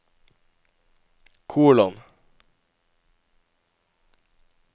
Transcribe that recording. kolon